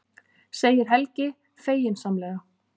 segir Helgi feginsamlega.